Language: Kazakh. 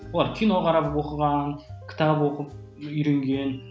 олар кино карап оқыған кітап оқып үйренген